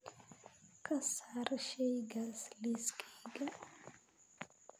ka saar shaygaas liiskayga